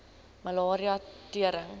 malaria tering